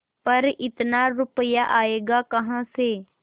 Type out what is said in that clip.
पर इतना रुपया आयेगा कहाँ से